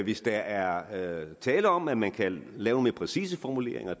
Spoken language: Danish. hvis der er tale om at man kan lave mere præcise formuleringer